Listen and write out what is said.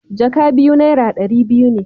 jaka biyu naira dari biyu ne.